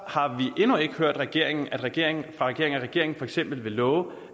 har vi endnu ikke hørt fra regeringen at regeringen regeringen for eksempel vil love